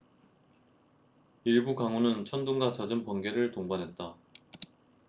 일부 강우는 천둥과 잦은 번개를 동반했다